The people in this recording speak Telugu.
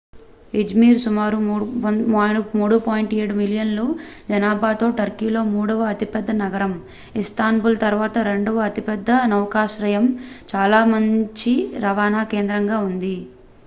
iszmir సుమారు 3.7 మిలియన్ల జనాభాతో టర్కీలో మూడవ అతిపెద్ద నగరం ఇస్తాంబుల్ తరువాత రెండవ అతిపెద్ద నౌకాశ్రయం చాలా మంచి రవాణా కేంద్రంగా ఉంది